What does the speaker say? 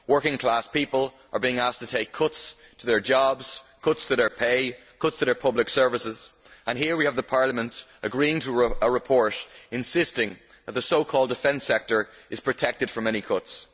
Working class people are being asked to take cuts in their jobs, cuts to their pay, cuts to their public services, and here we have the Parliament agreeing to a report insisting that the so called defence sector is protected from any cuts.